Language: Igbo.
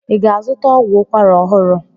I ga-azụta ọgwụ ukwara ọhụrụ?